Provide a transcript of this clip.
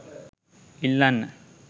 ඉල්ලන්න